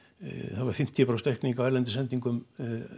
það var fimmtíu prósent aukning á erlendum sendingum